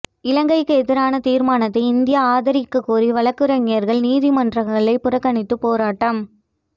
இலங்கைக்கு எதிரான தீர்மானத்தை இந்தியா ஆதரிக்கக் கோரி வழக்குரைஞர்கள் நீதிமன்றங்களைப் புறக்கணித்துப் போராட்டம்